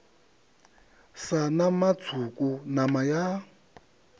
sa nama tswuku nama ya